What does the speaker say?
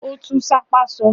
Ó tún "sápá" sọ?